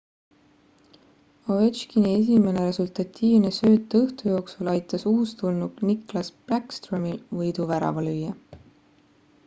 ovechkini esimene resultatiivne sööt õhtu jooksul aitas uustulnuk nicklas backstromil võiduvärava lüüa